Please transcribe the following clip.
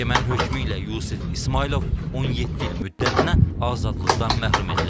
Məhkəmənin hökmü ilə Yusif İsmayılov 17 il müddətinə azadlıqdan məhrum edilib.